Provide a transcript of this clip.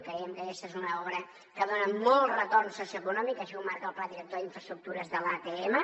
creiem que aquesta és una obra que dona molt retorn socioeconòmic així ho marca el pla director d’infraestructures de l’atm